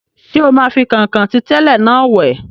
Ṣé o máa fi kọ̀nkọ̀n tí tẹ́lẹ̀ náà wẹ̀?